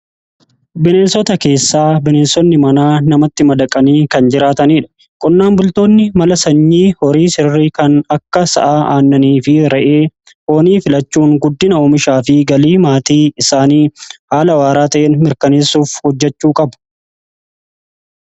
bineensota keessaa bineensonni manaa namatti madaqanii kan jiraataniidha qonnaan bultoonni mala sanyii horii sirri kan akka sa'aa aannanii fi ra'ee hoonii filachuun guddina oomishaa fi galii maatii isaanii haala waaraa ta'in mirkaneessuuf hojjechuu qabu.